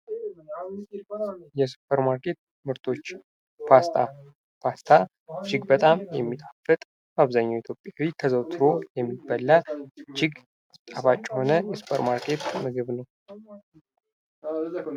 የሱፐርማርኬት ምርቶች ፦ ፓስታ ፦ ፓስታ እጅግ በጣም የሚጣፍጥ ፣ በአብዛኛው ኢትዮጵያዊ ተዘውትሮ የሚበላ ፣ እጅግ ጣፋጭ የሆነ የሱፐርማርኬት ምግብ ነው ።